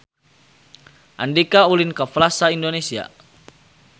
Andika ulin ka Plaza Indonesia